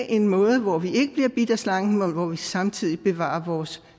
en måde hvor vi ikke bliver bidt af slangen og hvor vi samtidig bevarer vores